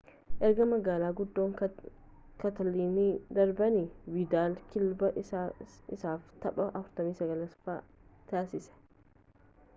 erga magaala guddaa kaatalaanitti darbaani viidaal kilaabii isaaf taphaa 49 taasisee